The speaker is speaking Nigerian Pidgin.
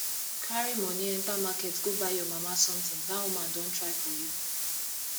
carry money enter market go buy your mama something dat woman don try for you